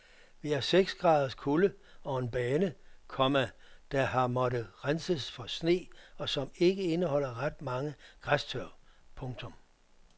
Vi har seks graders kulde og en bane, komma der har måttet renses for sne og som ikke indeholder ret mange græstørv. punktum